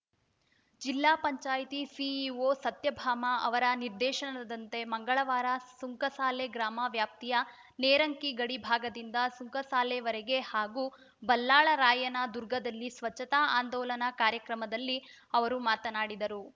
ಜಿಲ್ಲಾ ಪಂಚಾಯತಿ ಸಿಇಒ ಸತ್ಯಭಾಮ ಅವರ ನಿರ್ದೇಶನದಂತೆ ಮಂಗಳವಾರ ಸುಂಕಸಾಲೆ ಗ್ರಾಮ ವ್ಯಾಪ್ತಿಯ ನೇರಂಕಿ ಗಡಿ ಭಾಗದಿಂದ ಸುಂಕಸಾಲೆವರೆಗೆ ಹಾಗೂ ಬಲ್ಲಾಳರಾಯನದುರ್ಗದಲ್ಲಿ ಸ್ವಚ್ಛತಾ ಆಂದೋಲನಾ ಕಾರ್ಯಕ್ರಮದಲ್ಲಿ ಅವರು ಮಾತನಾಡಿದರು